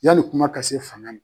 Yali kuma ka se fanga na.